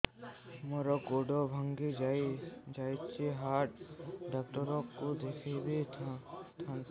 ମୋର ଗୋଡ ଭାଙ୍ଗି ଯାଇଛି ହାଡ ଡକ୍ଟର ଙ୍କୁ ଦେଖେଇ ଥାନ୍ତି